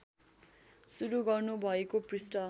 सुरु गर्नुभएको पृष्ठ